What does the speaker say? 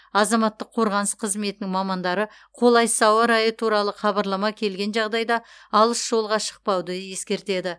азаматтық қорғаныс қызметінің мамандары қолайсыз ауа райы туралы хабарлама келген жағдайда алыс жолға шықпауды ескертеді